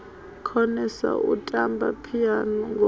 konesa u tamba phiano ngoho